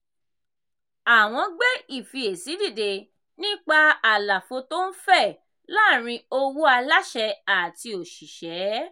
àwọn gbé ìfiyèsí dìde nípa àlàfo tó ń fẹ̀ láàrin owó aláṣẹ àti òṣìṣẹ́.